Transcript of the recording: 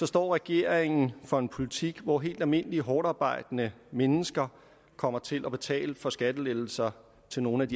står regeringen for en politik hvor helt almindelige hårdtarbejdende mennesker kommer til at betale for skattelettelser til nogle af de